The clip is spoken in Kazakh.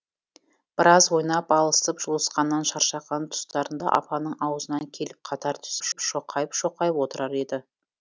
біраз ойнап алысып жұлысқаннан шаршаған тұстарында апанның аузына келіп қатар түзеп шоқайып шоқайып отырар еді